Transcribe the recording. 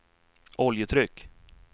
oljetryck